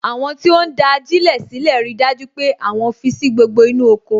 Àwọn tí ó ń da ajilẹ sílè rí dájú pé àwọn fi sí gbogbo inú oko